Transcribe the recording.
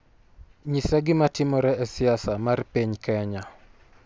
nyisa gima timore e siasa mar piny Kenya